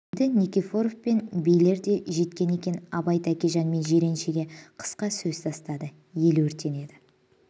енді никифоров пен билер де жеткен екен абай тәкежан мен жиреншеге қысқа сөз тастады ел өртенеді